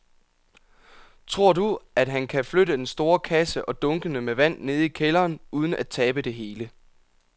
Tror du, at han kan flytte den store kasse og dunkene med vand ned i kælderen uden at tabe det hele?